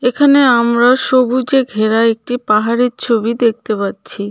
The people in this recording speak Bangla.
এখানে আমরা সবুজে ঘেরা একটি পাহাড়ের ছবি দেখতে পাচ্ছি.